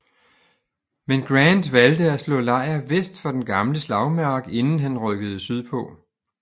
Men Grant valgte at slå lejr vest for den gamle slagmark inden han rykkede sydpå